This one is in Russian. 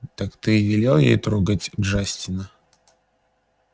так ты велел ей трогать джастина